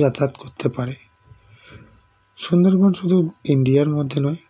যাতায়াত করতে পারে সুন্দরবন শুধু india - র মধ্যে নয়